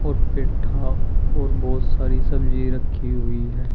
पेठा और बहुत सारी सब्जी रखी हुई है।